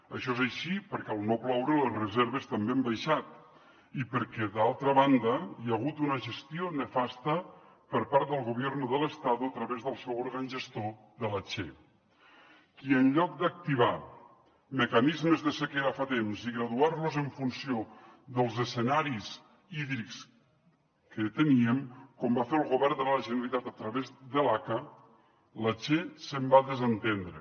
això és així perquè al no ploure les reserves també han baixat i perquè d’altra banda hi ha hagut una gestió nefasta per part del gobierno del estado a través del seu òrgan gestor de la che que en lloc d’activar mecanismes de sequera fa temps i graduar los en funció dels escenaris hídrics que teníem com va fer el govern de la generalitat a través de l’aca se’n va desentendre